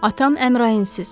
Atam Əmrainsiz.